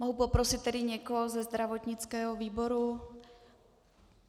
Mohu poprosit tedy někoho ze zdravotnického výboru?